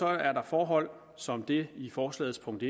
er der forhold som det i forslagets punkt